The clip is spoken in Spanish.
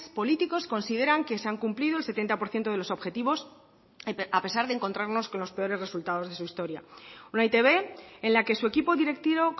políticos consideran que se han cumplido el setenta por ciento de los objetivos a pesar de encontrarnos con los peores resultados de su historia una e i te be en la que su equipo directivo